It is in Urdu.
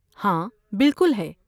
ہاں، بالکل ہے۔